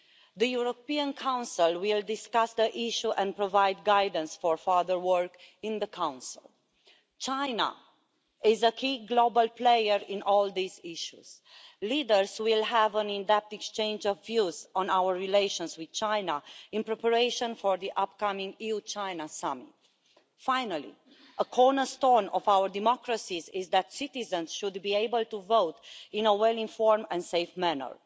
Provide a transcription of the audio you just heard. The European Council will discuss the issue and provide guidance for further work in the Council. China is a key global player in all these issues. Leaders will have an in depth exchange of views on our relations with China in preparation for the upcoming EU China summit. Finally, a cornerstone of our democracies is that citizens should be able to vote in a well informed and safe manner.